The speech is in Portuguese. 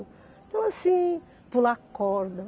Então assim, pular corda.